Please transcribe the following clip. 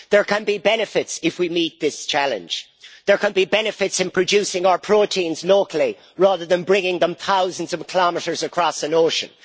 There can be benefits if we meet this challenge there can be benefits in producing our proteins locally, rather than bringing them thousands of kilometres across an ocean